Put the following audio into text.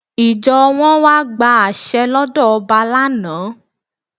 Ìjọ wọn wá gba àṣẹ lọ́dọ̀ ọba lánà.